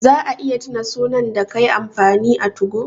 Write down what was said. Za a iya tuna sunan da kai amfani a 2go?